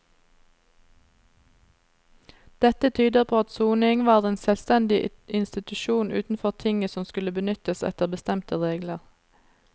Dette tyder på at soning var en selvstendig institusjon utenfor tinget som skulle benyttes etter bestemte regler.